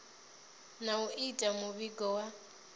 na u ita muvhigo wa